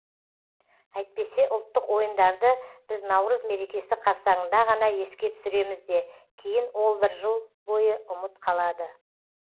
әйтпесе ұлттық ойындарды біз наурыз мерекесі қарсаңында ғана еске түсіреміз де кейін ол бір жыл бойы ұмыт қалады